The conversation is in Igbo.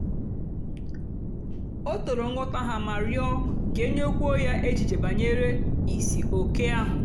o tòrò nghọ́tá ha mà rịọ́ kà e nyékùwó ya èchìchè bànyèrè ìsìòké ahụ́.